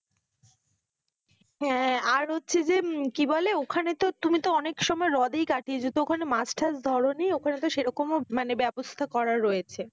হ্যাঁ, আর হচ্ছে যে কি বলে ওখানে তো তুমি তো অনেক সময় হ্রদেই কাটিয়েছ, তো ওখান মাছ টাচ ধরোনি? ওখানে তো সেরকমও ব্যবস্থা করা রয়েছে,